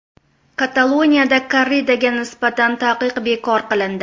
Kataloniyada korridaga nisbatan taqiq bekor qilindi.